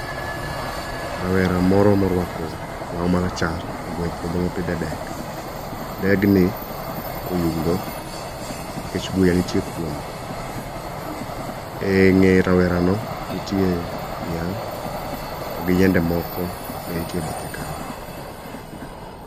Rawera moro morwako law marachar ogwe e puodho mopidh e dek. Degni oyugno, nikech buya nitie kuome. Eng'e rawerano nitie niang' to gi yiende moko be ntie e bathe kanyo.